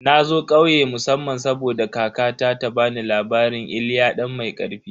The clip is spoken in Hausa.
Na zo ƙauye musamman saboda kakata ta bani labarin "Iliya dan mai karfi"